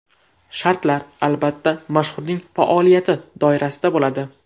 Shartlar, albatta, mashhurning faoliyati doirasida bo‘ladi.